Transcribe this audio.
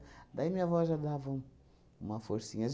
Daí minha avó já dava um uma forcinha.